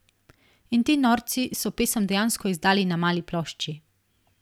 In ti norci so pesem dejansko izdali na mali plošči.